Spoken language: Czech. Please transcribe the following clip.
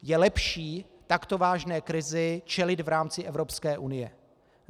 Je lepší takto vážné krizi čelit v rámci Evropské unie.